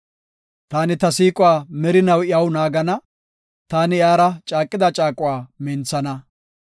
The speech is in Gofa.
Taani ta siiquwa merinaw iyaw naagana; taani iyara caaqida caaquwa minthana.